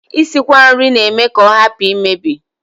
Isikwa nri na-eme ka ọ hapụ imebi